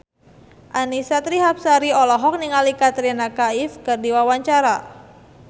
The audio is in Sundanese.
Annisa Trihapsari olohok ningali Katrina Kaif keur diwawancara